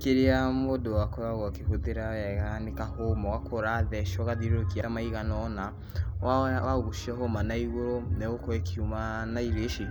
Kĩrĩa mũndũ akoragwo akĩhũthĩra wega nĩ kahũma, ũgakorwo ũratheca ũgathiũrũrũkia maigana ũna, woya, wagucia hũma na igũrũ, nĩ ĩgũkorwo ĩkiuma na irio ici.